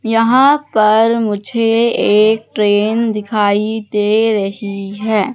यहाँ पर मुझे एक ट्रेन दिखाई दे रही है।